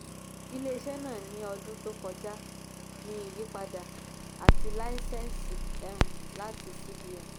um ilé-iṣẹ́ náà ní ọdún tó kọjá ní ìyípadà àti láísẹ̀nsì um láti cbn